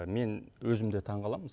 мен өзім де таң қаламын